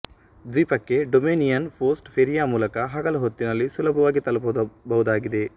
ದ್ವೀಪಕ್ಕೆ Dominion post ಫೇರಿಯ ಮೂಲಕ ಹಗಲು ಹೊತ್ತಿನಲ್ಲಿ ಸುಲಭವಾಗಿ ತಲುಪಬಹುದಾಗಿದೆ